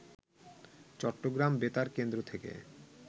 চট্টগ্রাম বেতার কেন্দ্র থেকে